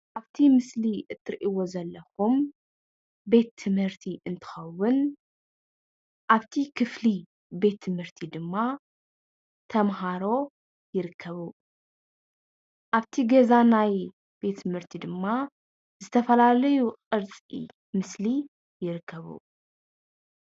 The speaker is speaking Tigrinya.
ኣብቲ ምስሊ እትርእይዎ ዘላኹም ቤት ትምህርቲ እንትኸውን ኣብቲ ክፍሊ ቤት ትምህርቲ ድማ ተምሃሮ ይርከቡ። ኣብቲ ገዛ ናይ ቤት ትምህርቲ ድማ ዝተፈላለዩ ቕርፂ ምስሊ ይርከቡ።